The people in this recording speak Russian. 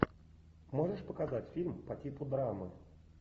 можешь показать фильм по типу драмы